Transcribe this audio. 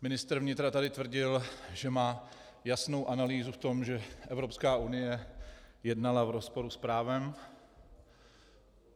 Ministr vnitra tady tvrdil, že má jasnou analýzu v tom, že Evropská unie jednala v rozporu s právem.